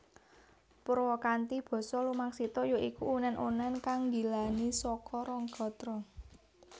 Purwakanthi basa lumaksita ya iku unèn unèn kang nggilani saka rong gatra